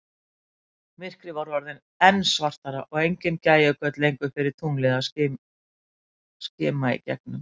Myrkrið var orðið enn svartara, og engin gægjugöt lengur fyrir tunglið að skima í gegnum.